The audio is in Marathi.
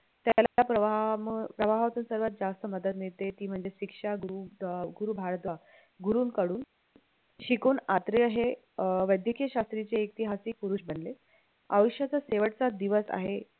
त्याला प्रवाह प्रवाहाचं सर्वात जास्त मदत मिळते ती म्हणजे शिक्षा गुरु गुरु भारद्वा गुरूंकडून शिकून अत्रेय हे अं वैदकीय शास्त्राचे इतिहासी पुरुष बनले आयुष्याचा शेवटचा दिवस आहे